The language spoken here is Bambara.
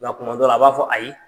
Nka kuma dɔ la , a b'a fɔ ayi.